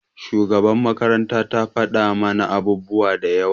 shugabar makaranta ta fada mana abubuwa da yawa.